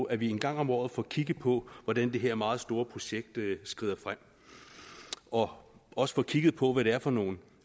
at vi en gang om året får kigget på hvordan det her meget store projekt skrider frem og også får kigget på hvad det er for nogle